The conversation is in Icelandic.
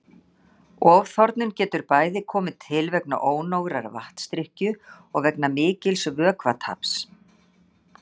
Ofþornun getur bæði komið til vegna ónógrar vatnsdrykkju og vegna mikils vökvataps.